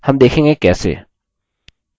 हम देखेंगे कैसे